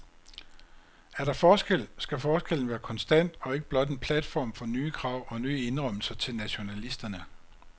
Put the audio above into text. Er der forskel, skal forskellen være konstant og ikke blot en platform for nye krav og nye indrømmelser til nationalisterne.